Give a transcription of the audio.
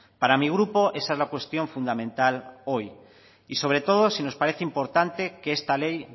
para mi grupo esa es la cuestión fundamental hoy y sobre todo si nos parece importante que esta ley